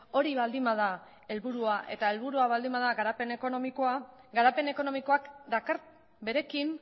hori baldin bada helburua eta helburua baldin bada garapen ekonomikoa garapen ekonomikoak dakar berekin